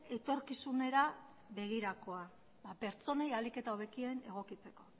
etorkizunera begirakoa pertsonei ahalik eta hobekien egokitzeko